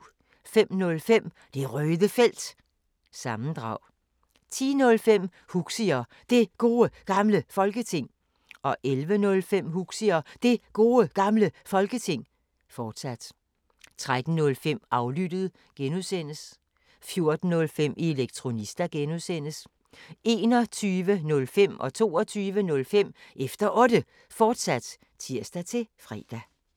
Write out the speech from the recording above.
05:05: Det Røde Felt – sammendrag 10:05: Huxi og Det Gode Gamle Folketing 11:05: Huxi og Det Gode Gamle Folketing, fortsat 13:05: Aflyttet (G) 14:05: Elektronista (G) 21:05: Efter Otte, fortsat (tir-fre) 22:05: Efter Otte, fortsat (tir-fre)